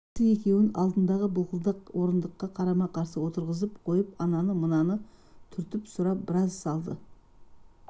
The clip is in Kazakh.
бәйбішесі екеуін алдындағы былқылдақ орындыққа қарама-қарсы отырғызып қойып ананы-мынаны түртіп сұрап біраз салды